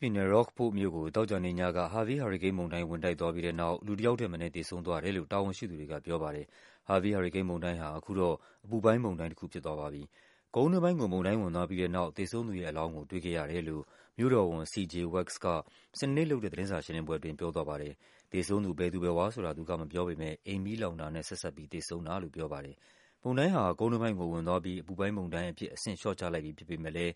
ပြည်နယ်၊ Rockport မြို့ကို သောကြာနေ့ညက Harvey ဟာရီကိန်းမုန်တိုင်း ဝင်တိုက်သွားပြီးတဲ့နောက် လူ တယောက်ထက်မနည်း သေဆုံးသွားတယ်လို့ တာဝန်ရှိသူတွေကပြောပါတယ်။ Harvey ဟာရီကိန်းမုန်တိုင်းဟာ အခုတော့ အပူ ပိုင်းမုန်တိုင်းတခုဖြစ်သွားပါပြီ။ ကုန်းတွင်းပိုင်းကို မုန်တိုင်းဝင်သွားပြီးတဲ့နောက် သေဆုံးသူရဲ့အလောင်းကို တွေ့ခဲ့ရ တယ်လို့ မြို့တော်ဝန် C. J. Wax က စနေနေ့ လုပ်တဲ့ သတင်းစာရှင်းလင်းပွဲအတွင်း ပြောသွားပါတယ်။ သေဆုံးသူ ဘယ်သူဘယ်ဝါဆိုတာ သူကမပြောပေမဲ့ အိမ်မီးလောင်တာနဲ့ ဆက်စပ်ပြီး သေဆုံးတာလို့ ပြောပါတယ်။ မုန်တိုင်းဟာ ကုန်တွင်းပိုင်းကိုဝင်သွားပြီး အပူပိုင်းမုန်တိုင်းအဖြစ် အဆင့်လျှော့ချလိုက်ပြီ ဖြစ်ပေမဲ့လဲ